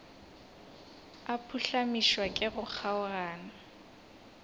a phuhlamišwa ke go kgaogana